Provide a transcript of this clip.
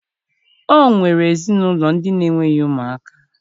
O nwere ezinụlọ ndị na-enweghi ụmụaka